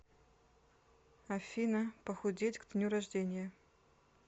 афина похудеть к дню рождения